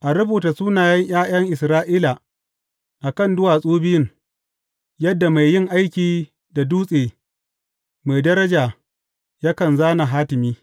A rubuta sunayen ’ya’yan Isra’ila a kan duwatsu biyun, yadda mai yin aiki da dutse mai daraja yakan zāna hatimi.